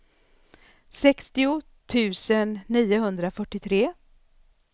sextio tusen niohundrafyrtiotre